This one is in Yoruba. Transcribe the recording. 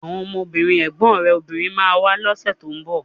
Àwọn ọmọbìnrin ẹ̀gbọ́n rẹ̀ obìnrin ma wá lọ́sẹ̀ tó ń bọ̀